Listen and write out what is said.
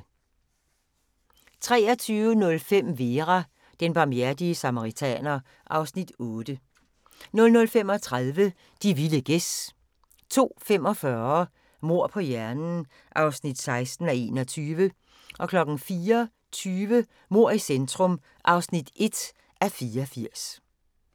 23:05: Vera: Den barmhjertige samaritaner (Afs. 8) 00:35: De vilde gæs 02:45: Mord på hjernen (16:21) 04:20: Mord i centrum (1:84)